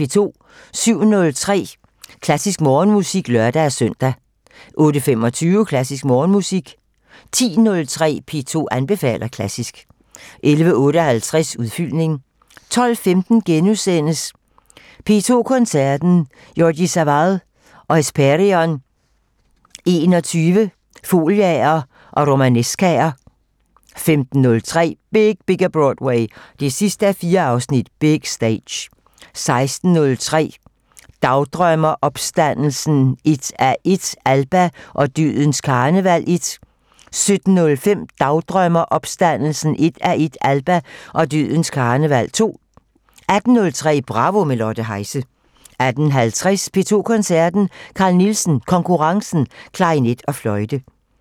07:03: Klassisk Morgenmusik (lør-søn) 08:25: Klassisk Morgenmusik 10:03: P2 anbefaler klassisk 11:58: Udfyldning 12:15: P2 Koncerten - Jordi Savall og Hespèrion XXI - Foliaer & Romanescaer * 15:03: Big Bigger Broadway 4:4 - Big Stage 16:03: Dagdrømmer: Opstandelsen 1:1 - Alba og dødens karneval 1 17:05: Dagdrømmer: Opstandelsen 1:1 - Alba og dødens karneval 2 18:03: Bravo - med Lotte Heise 18:50: P2 Koncerten - Carl Nielsen Konkurrencen: Klarinet og Fløjte